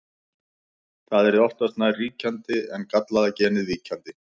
það yrði oftast nær ríkjandi en gallaða genið víkjandi